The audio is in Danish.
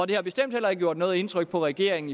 det har bestemt heller ikke gjort noget indtryk på regeringen